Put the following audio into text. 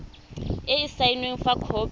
e e saenweng fa khopi